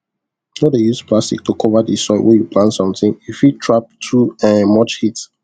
no dey use plastic to cover di soil wey you plant something e fit trap too um much heat